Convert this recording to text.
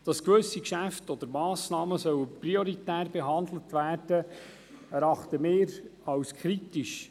Dass gewisse Geschäfte oder Massnahmen prioritär behandelt werden sollen, erachten wir als kritisch.